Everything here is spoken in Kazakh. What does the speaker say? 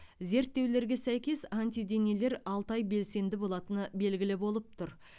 зерттеулерге сәйкес антиденелер алты ай белсенді болатыны белгілі болып тұр